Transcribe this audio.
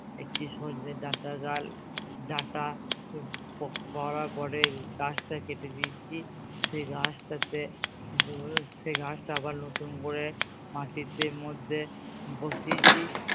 একটি সচনে ডাটা ডাল ডাটা পড়ার পরে গাছটা কেটে দিয়েছি সেই গাছটাতে সেই গাছটা আবার নতুন করে মাটিতে মধ্যে বসিয়েছি